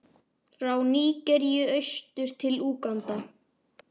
frá Nígeríu austur til Úganda.